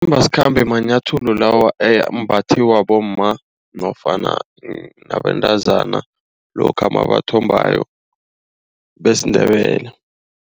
Amanambasikhambe manyathelo lawa ambathwa bomma nofana nabentazana lokha nabathombako besiNdebele.